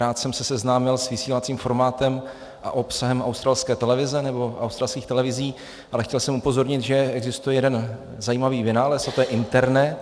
Rád jsem se seznámil s vysílacím formátem a obsahem australské televize, nebo australských televizí, ale chtěl jsem upozornit, že existuje jeden zajímavý vynález, a to je internet.